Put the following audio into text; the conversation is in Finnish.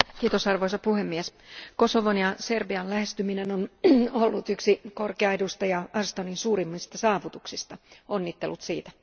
Arvoisa puhemies, Kosovon ja Serbian lähentyminen on ollut yksi korkea edustaja Ashtonin suurimmista saavutuksista, onnittelut siitä.